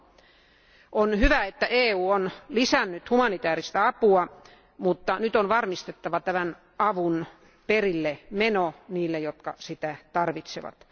On hyvä, että EU on lisännyt humanitääristä apua, mutta nyt on varmistettava tämän avun perillemeno niille, jotka sitä tarvitsevat.